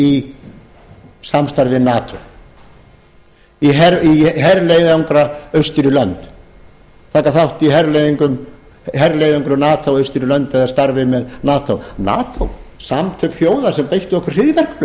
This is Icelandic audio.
í samstarf við nato í herleiðangra austur í lönd taka þátt í herleiðöngrum nato austur í lönd í starfi með nato nato samtök þjóða sem beittu okkur